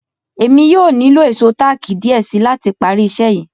Èmi yóò ní lo èṣọ̀ taki diẹ̀ sí láti pá rí iṣẹ̀ yí.